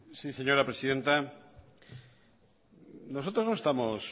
sí señora presidenta nosotros no estamos